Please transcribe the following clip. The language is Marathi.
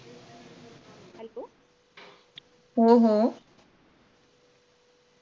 हो हो